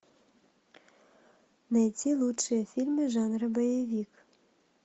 найти лучшие фильмы жанра боевик